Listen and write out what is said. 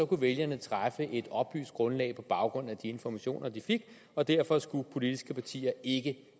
kunne vælgerne træffe et oplyst grundlag på baggrund af de informationer de fik og derfor skulle politiske partier ikke